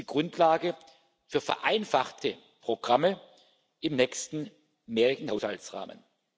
Dies ist die Grundlage für vereinfachte Programme im nächsten mehrjährigen Finanzrahmen.